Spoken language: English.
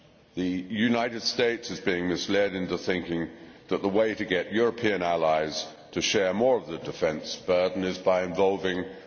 The United States is being misled into thinking that the way to get European allies to share more of the defence burden is by involving the EU.